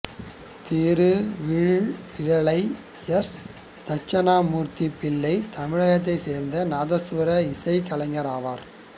Thiruveezhimizhalai S Dakshinamurthy Pillai தமிழகத்தைச் சேர்ந்த நாதசுவர இசைக் கலைஞர் ஆவார்